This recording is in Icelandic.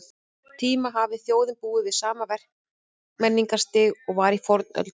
tíma hafi þjóðin búið við sama verkmenningarstig og var í fornöld.